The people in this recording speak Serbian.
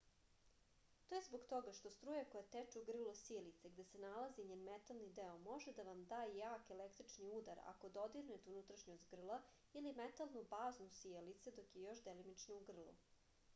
to je zbog toga što struja koja teče u grlo sijalice gde se nalazi njen metalni deo može da vam da jak električni udar ako dodirnete unutrašnjost grla ili metalnu bazu sijalice dok je još uvek delimično u grlu